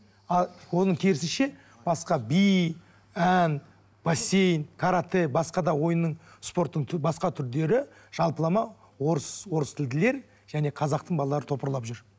а оның керісінше басқа би ән бассейн каратэ басқа да ойынның спорттың басқа түрлері жалпылама орыс орыс тілділер және қазақтың балалары топырлап жүр